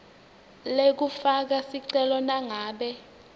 lekufaka sicelo nangabe